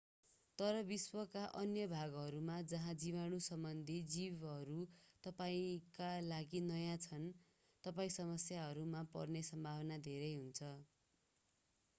तर विश्वका अन्य भागहरूमा जहाँ जीवाणुसम्बन्धी जीवहरू तपाईंका लागि नयाँ छन् तपाईं समस्याहरूमा पर्ने सम्भावना धेरै हुन्छ